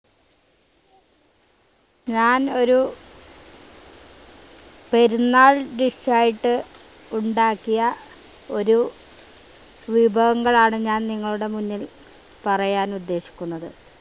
ഞാൻ ഒരു പെരുന്നാൾ ദിവസായിട്ട് ഉണ്ടാക്കിയ ഒരു വിഭവങ്ങളാണ് ഞാൻ നിങ്ങളുടെ മുന്നിൽ പറയാൻ ഉദ്ദേശിക്കുന്നത്